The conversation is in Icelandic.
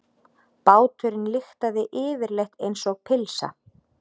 Báturinn lyktaði yfirleitt einsog pylsa.